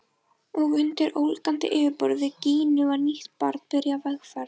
Og undir ólgandi yfirborði Gínu var nýtt barn byrjað vegferð.